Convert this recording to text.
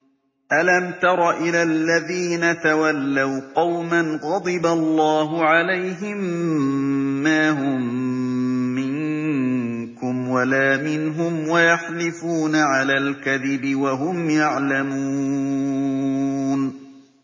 ۞ أَلَمْ تَرَ إِلَى الَّذِينَ تَوَلَّوْا قَوْمًا غَضِبَ اللَّهُ عَلَيْهِم مَّا هُم مِّنكُمْ وَلَا مِنْهُمْ وَيَحْلِفُونَ عَلَى الْكَذِبِ وَهُمْ يَعْلَمُونَ